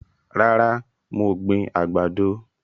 Rárá, mo gbìn àgbàdo